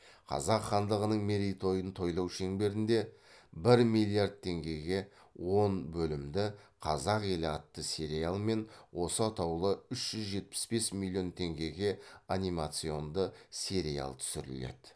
қазақ хандығының мерейтойын тойлау шеңберінде бір миллиард теңгеге он бөлімді қазақ елі атты сериал мен осы атаулы үш жүз жетпіс бес миллион теңгеге анимационды сериал түсіріледі